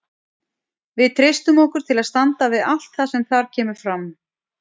Við treystum okkur til að standa við allt það sem þar kemur fram.